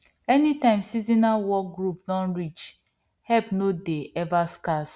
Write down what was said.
anytime seasonal work group don reach help no dey ever scarce